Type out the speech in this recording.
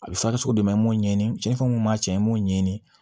A bɛ farisogo dɛmɛ n'o ɲɛɲini tiɲɛnnifɛnw kun b'a cɛ n'o ɲɛɲini